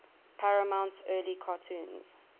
paramount's early cartoons